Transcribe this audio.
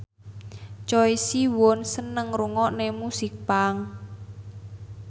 Choi Siwon seneng ngrungokne musik punk